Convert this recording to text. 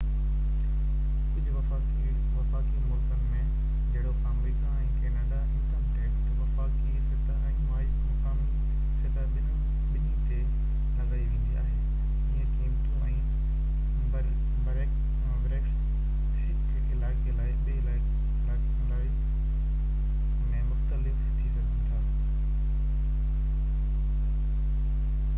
ڪجهه وفاقي ملڪن ۾ جهڙوڪ آمريڪا ۽ ڪئناڊا انڪم ٽيڪس وفاقي سطح ۽ مقامي سطح ٻنهي تي لڳائي ويندي آهي جيئن قيمتون ۽ بريڪيٽس هڪ علائقي کان ٻئي علائي ۾ مختلف ٿي سگهن